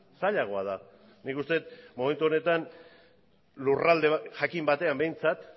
zailagoa da nik uste dut momentu honetan lurralde jakin batean behintzat